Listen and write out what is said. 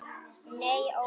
Nei ó nei.